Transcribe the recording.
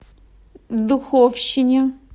духовщине